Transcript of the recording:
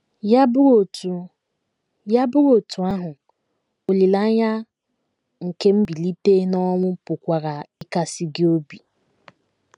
Ya bụrụ otú Ya bụrụ otú ahụ, olileanya nke mbilite n’ọnwụ pụkwara ịkasi gị obi.